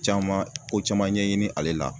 Caman ko caman ɲɛɲini ale la